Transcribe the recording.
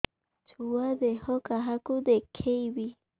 ଛୁଆ ଦେହ କାହାକୁ ଦେଖେଇବି